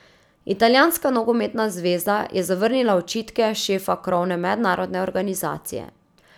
Italijanska nogometna zveza je zavrnila očitke šefa krovne mednarodne organizacije.